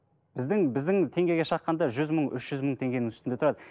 біздің біздің теңгеге шаққанда жүз мың үш жүз мың теңгенің үстінде тұрады